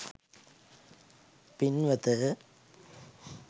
පින්වත